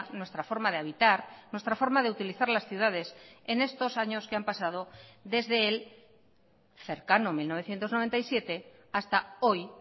nuestra forma de habitar nuestra forma de utilizar las ciudades en estos años que han pasado desde el cercano mil novecientos noventa y siete hasta hoy